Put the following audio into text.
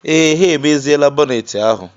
Ee, ha emeziela bọneeti ahụ.